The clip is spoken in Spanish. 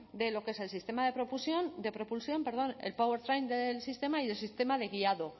de lo que es el sistema de propulsión el powertrain del sistema y el sistema de guiado